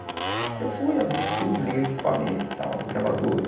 Aí eu fui, abri o estúdio, liguei o equipamento, tal os gravadores.